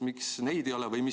Miks neid ei ole?